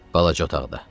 Balaca otaqda.